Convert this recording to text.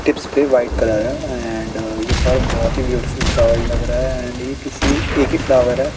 Tips भी white colour है and ये फ्लावर बहुतही ब्यूटीफुल फ्लावर लग रहा है अँड ये किसी एकही फ्लावर है।